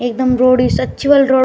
एकदम रोड सच्ची वाली रोड ।